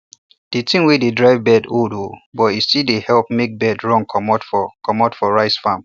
the thing wey de drive bird old oo but e still dey help make bird run comot for comot for rice farm